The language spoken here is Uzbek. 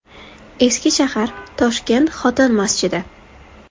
Eski shahar, Toshkent Xotin masjidi.